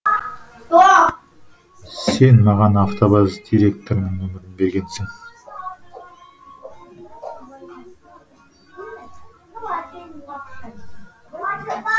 сен маған автобаз директорының нөмірін бергенсің